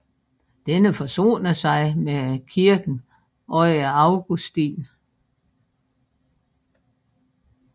Denne forsonede sig med kirken under Augustin